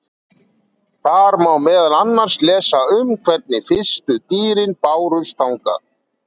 Þar má meðal annars lesa um hvernig fyrstu dýrin bárust þangað.